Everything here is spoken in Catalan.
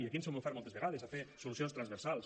i aquí ens hem ofert moltes vegades a fer solucions transversals